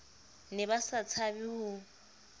ne ba sa tshabe ho